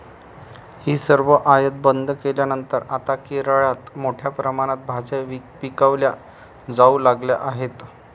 हि सर्व आयात बंद केल्यानंतर आता केरळात मोठ्या प्रमाणात भाज्या पिकवल्या जाऊ लागल्या आहेत.